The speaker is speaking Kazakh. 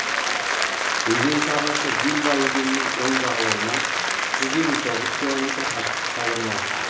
өзен сағасы вильва өзенінің оң жағалауынан жүз елу тоғыз километр қашықтықта орналасқан